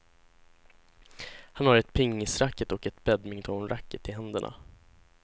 Han har ett pingisracket och ett badmintonracket i händerna.